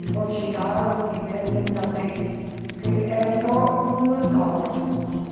Depois chegaram que queriam também, que era só duas salas.